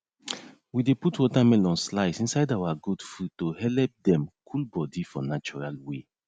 we dey put watermelon slice inside our goat food to helep dem cool body for natural way